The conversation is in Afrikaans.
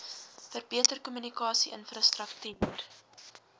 verbeter kommunikasie infrastruktuur